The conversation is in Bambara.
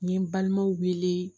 N ye n balimaw wele